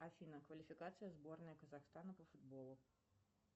афина квалификация сборной казахстана по футболу